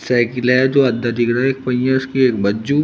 cycle है दो आधा दिख रहा है एक पहिया उसके एक बाज्जू --